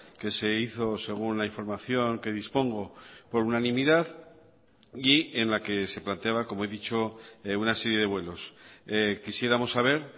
que se hizo según la información que dispongo por unanimidad y en la que se planteaba como he dicho una serie de vuelos quisiéramos saber